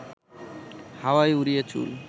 হাওয়ায় উড়িয়ে চুল